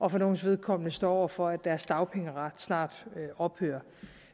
og for nogles vedkommende står over for at deres dagpengeret snart ophører